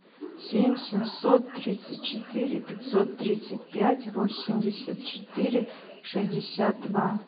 семь семьсот тридцать четыре пятьсот тридцать пять восемьдесят четыре шестьдесят два